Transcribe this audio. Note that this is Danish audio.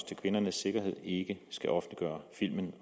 til kvindernes sikkerhed ikke skal offentliggøre filmen